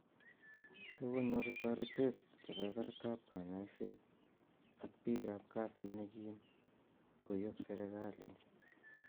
Kokonyor taretee kebebertab konyoiset ak biikaab kasiit nekiim tkoyob sirikalit